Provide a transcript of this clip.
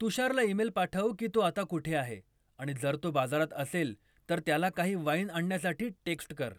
तुषारला email पाठव की तो आता कुठे आहे आणि जर तो बाजारात असेल तर त्याला काही वाईन आणण्यासाठी टेक्स्ट कर